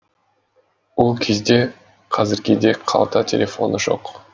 ол кезде қазіргідей қалта телефоны жоқ